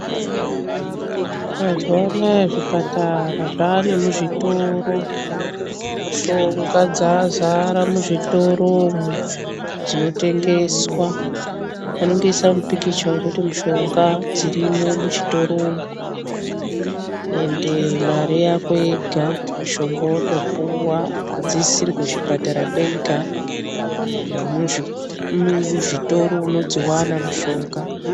Mazuwanaya zvipatara zvane muzvitoro mishonga dzazara muzvitoro umwu dzinotengeswa vanongoisa mupikicha wekuti mishonga dzirimwo muchitoro umwu ende mari yako yega mushonga wotopuwa hadzisisiri kuchipatara kwega nemuzvitoro unodziwana mishonga.